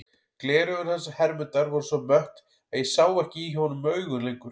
Gleraugun hans Hermundar voru svo mött að ég sá ekki í honum augun lengur.